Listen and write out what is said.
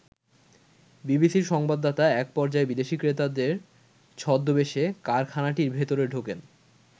বিবিসির সংবাদদাতা এক পর্যায়ে বিদেশী ক্রেতার ছদ্মবেশে কারখানাটির ভেতরে ঢোকেন।